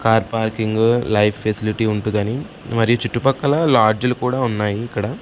car parking life facility ఉంటుదని మరియు చుటూపక్కల లాడ్జ్లు కూడా ఉన్నాయ్ ఇక్కడ --